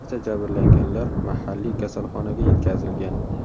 Barcha jabrlanganlar mahalliy kasalxonaga yetkazilgan.